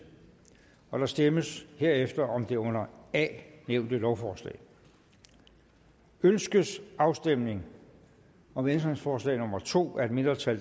der stemmes herefter om det under a nævnte lovforslag ønskes afstemning om ændringsforslag nummer to af et mindretal